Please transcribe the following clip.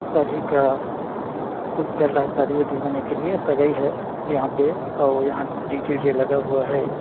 शादी का कुछ चल रहा है शादी -उदी होने के लिये और सगई है यहाँ पे आउ डी.जे. -उ.जे. लगा हुआ हैं ।